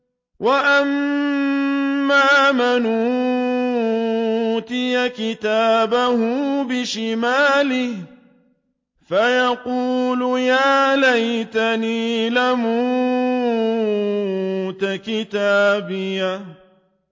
وَأَمَّا مَنْ أُوتِيَ كِتَابَهُ بِشِمَالِهِ فَيَقُولُ يَا لَيْتَنِي لَمْ أُوتَ كِتَابِيَهْ